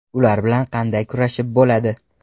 Ular bilan qanday kurashib bo‘ladi?!